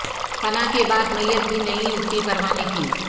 فنا کے بعد میت بھی نہیں اٹھتی پروانے کی